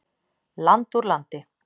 Land úr landi.